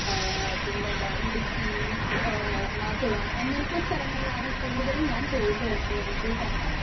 Speaker 1 ആ പിന്നേതാ ഇടുക്കീ ഏ എറണാകുളം അങ്ങനത്തെ സ്ഥലങ്ങളിലാണ് കൂടുതലും പോയിട്ടുള്ളത് കേരളത്തിൽ തന്നെ.